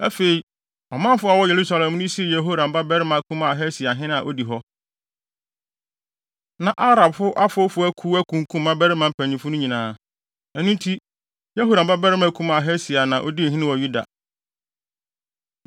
Afei, ɔmanfo a wɔwɔ Yerusalem no sii Yehoram babarima kumaa Ahasia ɔhene a odi hɔ. Na Arabfo afowfo akuw akunkum mmabarima mpanyimfo no nyinaa. Ɛno nti, Yehoram babarima kumaa Ahasia na odii hene wɔ Yuda.